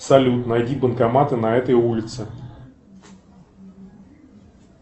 салют найди банкоматы на этой улице